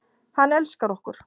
Hann elskar okkur.